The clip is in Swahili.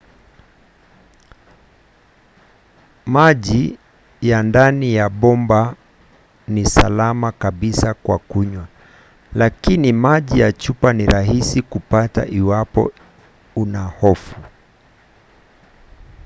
maji ya ndani ya bomba ni salama kabisa kwa kunywa lakini maji ya chupa ni rahisi kupata iwapo una hofu